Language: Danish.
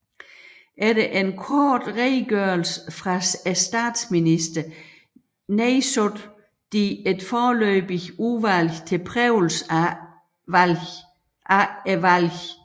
Efter en kort redegørelse fra statsministeren nedsattes et foreløbigt Udvalg til Prøvelse af Valgene